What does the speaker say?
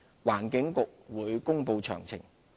環境局會公布詳情。